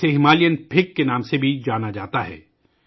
اسے ہمالیائی انجیر کے نام سے بھی جانا جاتا ہے